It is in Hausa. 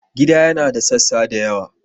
Gida yana da sassa da yawa.